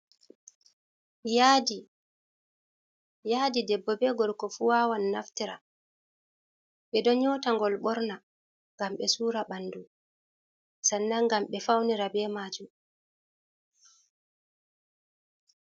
Yaadi. Yaadi debbo be gorko fu wawan naftira, ɓe ɗon yota ngol ɓorna ngam ɓe sura ɓandu, sannan ngam ɓe faunira be maajum.